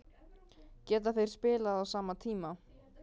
Geta þeir spilað á sama tíma?